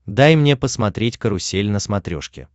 дай мне посмотреть карусель на смотрешке